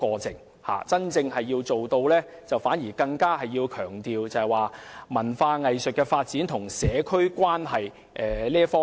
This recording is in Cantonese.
政府真正要做的反而是強調發展文化藝術與社區的關係。